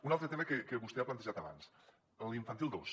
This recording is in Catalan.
un altre tema que vostè ha plantejat abans l’infantil dos